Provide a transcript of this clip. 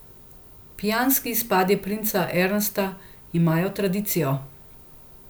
Pijanski izpadi princa Ernsta imajo tradicijo.